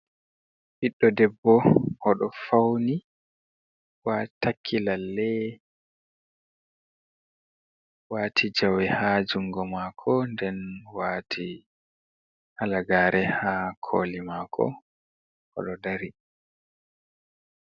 Ɓiɗdo debbo o ɗo fauni wa takki lalle ,wati jawe ha jungo mako, nden wati hala gaare ha koli mako o ɗo dari.